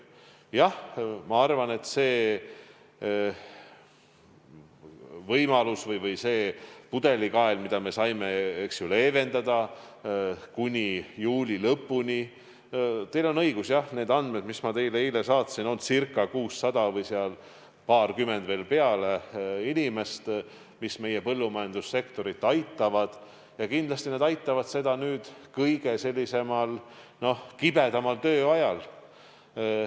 Jah, see võimalus või see pudelikael, mida me saime leevenduseks anda kuni juuli lõpuni, on selline, nende andmete järgi, mis ma teile eile saatsin, et circa 600 või paarkümmend peale inimest, kes meie põllumajandussektorit kindlasti aitavad nüüd kõige kibedamal tööajal.